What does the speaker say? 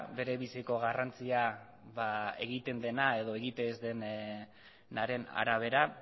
bere biziko garrantzia egiten dena edo egiten ez denaren arabera